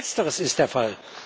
Letzteres ist der Fall.